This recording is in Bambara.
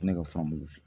Ne ka fanbe olu fɛ